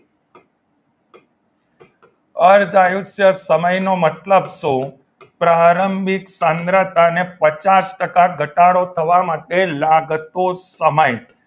અર્ધ આયુષ્ય સમય નો મતલબ શું પ્રારંભિક સાંદ્રતાને પચાસ ટકા ઘટાડો થવા માટે લાગતો સમય.